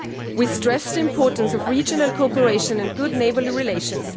We stress the importance of regional cooperation and good neighbourly relations.